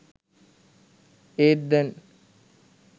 ඒත් දැන්